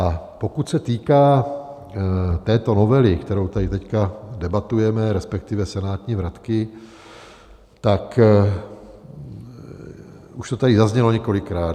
A pokud se týká této novely, kterou tady teď debatujeme, respektive senátní vratky, tak už to tady zaznělo několikrát.